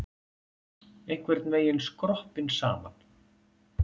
Einhvern veginn skroppinn saman.